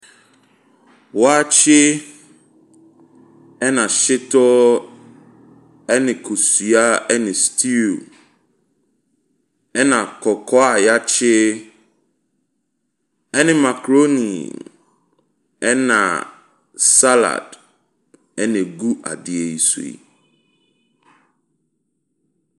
Waakye, ɛne hyetɔ ne kosua ne stew. Ɛna kɔkɔɔ a yɛakye ne makroni na salad. Ɛna egu adeɛ yi so yi.